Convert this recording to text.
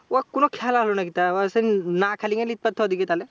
ও কোনো খেলা হল নাকি? তা আবার সে না খেলা নিক পারতো ওদিকে তাহলে?